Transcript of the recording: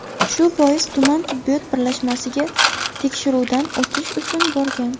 Shu bois, tuman tibbiyot birlashmasiga tekshiruvdan o‘tish uchun borgan.